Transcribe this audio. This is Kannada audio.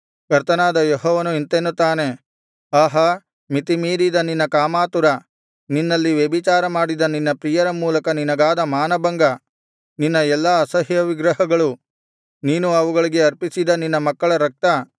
ಕರ್ತನಾದ ಯೆಹೋವನು ಇಂತೆನ್ನುತ್ತಾನೆ ಆಹಾ ಮಿತಿಮೀರಿದ ನಿನ್ನ ಕಾಮಾತುರ ನಿನ್ನಲ್ಲಿ ವ್ಯಭಿಚಾರಮಾಡಿದ ನಿನ್ನ ಪ್ರಿಯರ ಮೂಲಕ ನಿನಗಾದ ಮಾನಭಂಗ ನಿನ್ನ ಎಲ್ಲಾ ಅಸಹ್ಯ ವಿಗ್ರಹಗಳು ನೀನು ಅವುಗಳಿಗೆ ಅರ್ಪಿಸಿದ ನಿನ್ನ ಮಕ್ಕಳ ರಕ್ತ